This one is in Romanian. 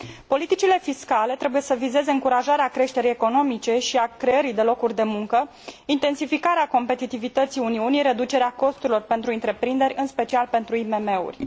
Politicile fiscale trebuie să vizeze încurajarea creșterii economice și a creării de locuri de muncă, intensificarea competitivității Uniunii, reducerea costurilor pentru întreprinderi, în special pentru IMM uri.